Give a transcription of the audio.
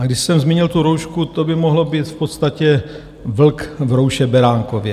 A když jsem zmínil tu roušku, to by mohlo být v podstatě vlk v rouše beránkově.